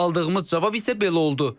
Aldığımız cavab isə belə oldu.